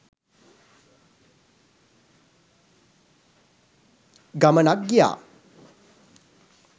ගමනක් ගියා.